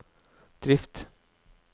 drift